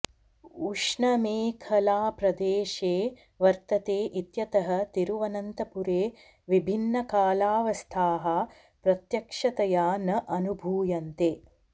उष्णमेखलाप्रदेशे वर्तते इत्यतः तिरुवनन्तपुरे विभिन्नकालावस्थाः प्रत्यक्षतया न अनुभूयन्ते